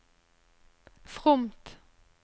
fromt